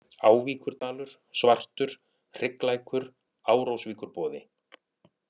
Ávíkurdalur, Svartur, Hrygglækur, Árósvíkurboði